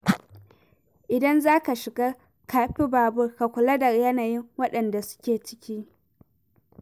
Idan zaka shiga kafi-babur ka kula da yanayin waɗanda suke ciki.